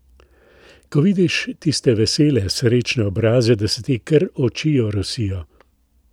Ko vidiš tiste vesele srečne obraze, da se ti kar oči orosijo.